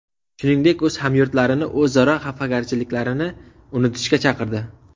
Shuningdek, o‘z hamyurtlarini o‘zaro xafagarchiliklarni unutishga chaqirdi.